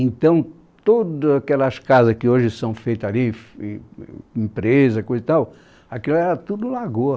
Então, todas aquelas casas que hoje são feitas ali, e, e, empresas, coisa e tal, aquilo era tudo lagoa.